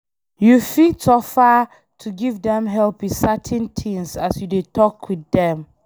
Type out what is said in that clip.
You fit offer to give them help with certain things as you dey talk with them